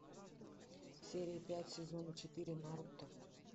серия пять сезона четыре наруто